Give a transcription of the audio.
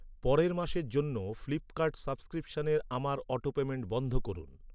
পরের মাসের জন্য ফ্লিপকার্ট সাবস্ক্রিপশনের আমার অটোপেমেন্ট বন্ধ করুন।